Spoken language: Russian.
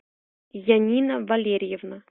янина валерьевна